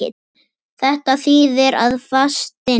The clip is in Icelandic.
Þetta þýðir að fastinn